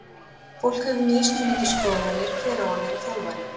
Fólk hefur mismunandi skoðanir hver á að vera þjálfari.